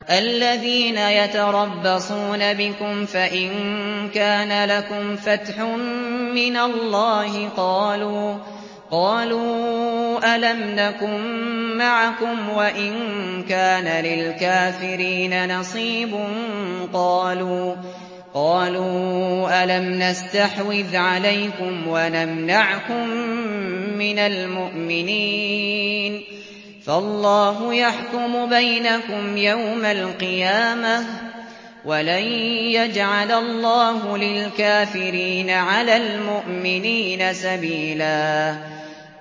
الَّذِينَ يَتَرَبَّصُونَ بِكُمْ فَإِن كَانَ لَكُمْ فَتْحٌ مِّنَ اللَّهِ قَالُوا أَلَمْ نَكُن مَّعَكُمْ وَإِن كَانَ لِلْكَافِرِينَ نَصِيبٌ قَالُوا أَلَمْ نَسْتَحْوِذْ عَلَيْكُمْ وَنَمْنَعْكُم مِّنَ الْمُؤْمِنِينَ ۚ فَاللَّهُ يَحْكُمُ بَيْنَكُمْ يَوْمَ الْقِيَامَةِ ۗ وَلَن يَجْعَلَ اللَّهُ لِلْكَافِرِينَ عَلَى الْمُؤْمِنِينَ سَبِيلًا